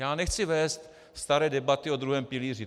Já nechci vést staré debaty o druhém pilíři.